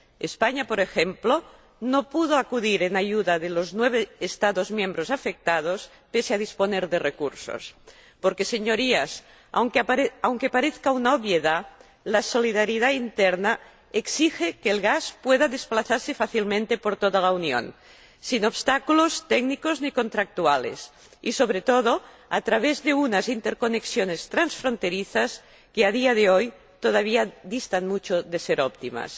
España, por ejemplo, no pudo acudir en ayuda de los nueve Estados miembros afectados pese a disponer de recursos. Quiero recordarles, Señorías, aunque parezca una obviedad, que la solidaridad interna exige que el gas pueda desplazarse fácilmente por toda la Unión, sin obstáculos técnicos ni contractuales y, sobre todo, a través de unas interconexiones transfronterizas que, a día de hoy, todavía distan mucho de ser óptimas.